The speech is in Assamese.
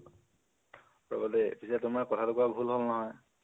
ৰবা দেই, পিছে তোমাৰ কথাতো কোৱা ভুল হল নহয়,